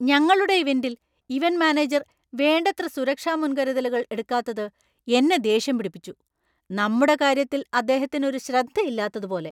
ഞങ്ങളുടെ ഇവന്‍റിൽ event manager വേണ്ടത്ര സുരക്ഷാ മുൻകരുതലുകൾ എടുക്കാത്തത് എന്നെ ദേഷ്യം പിടിപ്പിച്ചു . നമ്മുടെ കാര്യത്തിൽ അദ്ദേഹത്തിനു ഒരു ശ്രദ്ധ ഇല്ലാത്തത് പോലെ !`